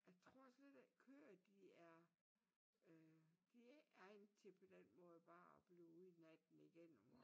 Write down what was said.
Jeg altså lidt at køer de er øh de ikke er til på den måde at blive ude natten igennem